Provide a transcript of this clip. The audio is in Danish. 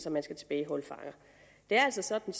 at man skal tilbageholde fanger det er altså sådan